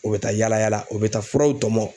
U bɛ taa yala yala u bɛ taa furaw tɔmɔ.